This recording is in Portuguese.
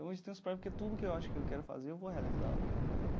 Eu hoje tenho esse projeto que tudo que eu acho que eu quero fazer eu vou realizar, entendeu?